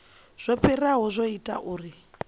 zwo fhiraho zwo ita uri